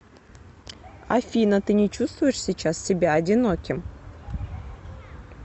афина ты не чувствуешь сейчас себя одиноким